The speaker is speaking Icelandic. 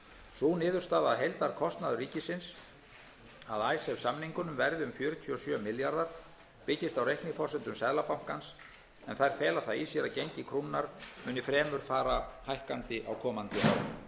sú niðurstaða að heildarkostnaður ríkisins af samningum verði um fjörutíu og sjö milljarðar króna byggist á reikniforsendum seðlabankans en þær fela það í sér að gengi krónunnar muni fara hækkandi á komandi árum